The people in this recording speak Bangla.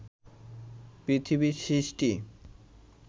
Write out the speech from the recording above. পৃথিবীর সৃষ্টি